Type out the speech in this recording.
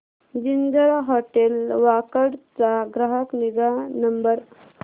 ginger hotel Wakad चा ग्राहक निगा नंबर